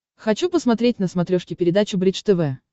хочу посмотреть на смотрешке передачу бридж тв